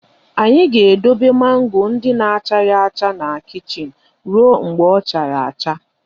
Anyị ga-edebe mango ndị na-achaghị acha na kichin ruo mgbe ọ chara acha